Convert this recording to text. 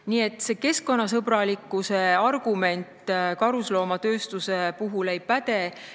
Nii et see keskkonnasõbralikkuse argument karusnahatööstuse puhul ei päde.